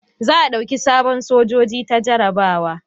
Za a dauka sabon sojoji ta jarabawa